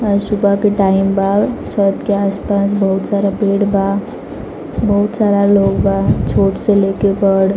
और सुबह का टाइम बा छत के आस-पास बहुत सारा पेड़बहुत सारा लोग लोग बाछोट से लेकर बड़--